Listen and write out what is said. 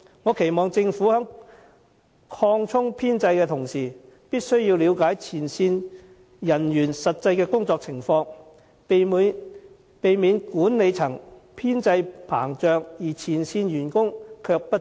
我期望政府在擴充編制的同時，了解前線人員的實際工作情況，避免管理層編制膨脹，但前線員工不足。